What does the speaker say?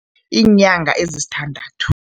Iinyanga ezisithandathu.